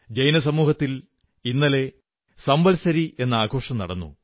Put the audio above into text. ജൈനസമൂഹത്തിൽ ഇന്നലെ സംവത്സരി എന്ന ആഘോഷം നടന്നു